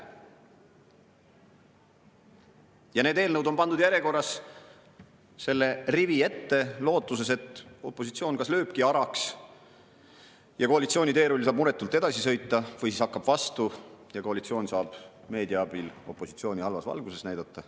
Ja need eelnõud on pandud järjekorras selle rivi ette lootuses, et opositsioon kas lööb araks ja koalitsiooni teerull saab muretult edasi sõita, või siis hakkab vastu ja koalitsioon saab meedia abil opositsiooni halvas valguses näidata.